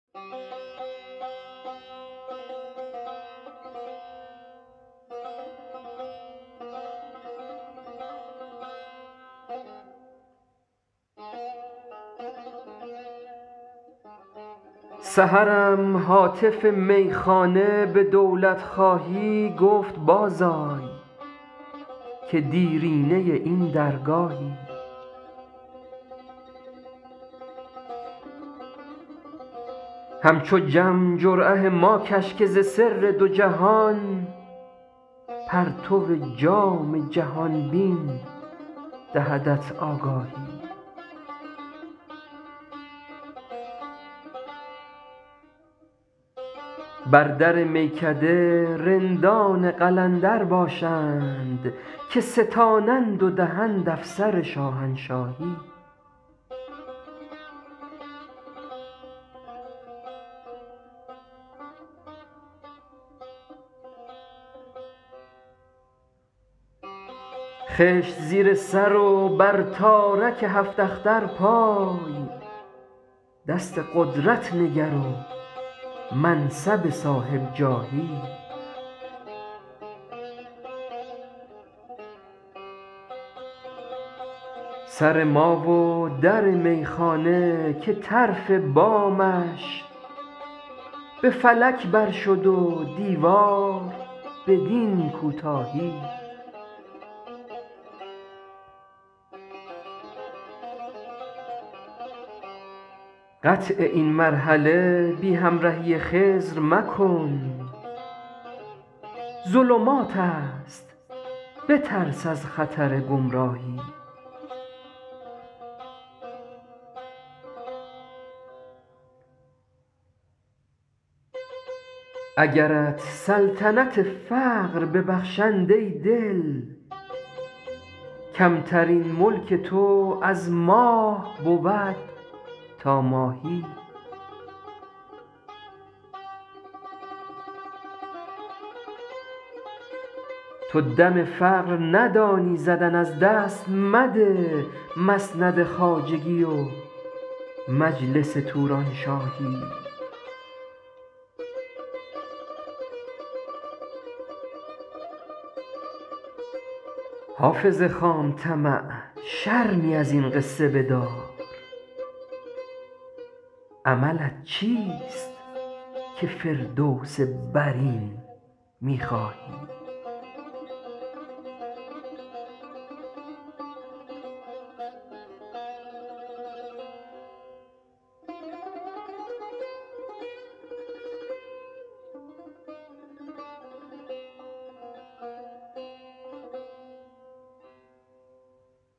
سحرم هاتف میخانه به دولت خواهی گفت باز آی که دیرینه این درگاهی همچو جم جرعه ما کش که ز سر دو جهان پرتو جام جهان بین دهدت آگاهی بر در میکده رندان قلندر باشند که ستانند و دهند افسر شاهنشاهی خشت زیر سر و بر تارک هفت اختر پای دست قدرت نگر و منصب صاحب جاهی سر ما و در میخانه که طرف بامش به فلک بر شد و دیوار بدین کوتاهی قطع این مرحله بی همرهی خضر مکن ظلمات است بترس از خطر گمراهی اگرت سلطنت فقر ببخشند ای دل کمترین ملک تو از ماه بود تا ماهی تو دم فقر ندانی زدن از دست مده مسند خواجگی و مجلس تورانشاهی حافظ خام طمع شرمی از این قصه بدار عملت چیست که فردوس برین می خواهی